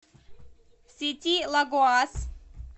сети лагоас